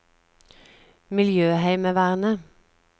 miljøheimevernet